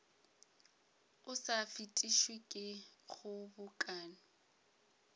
o sa fetišwe ke kgobokano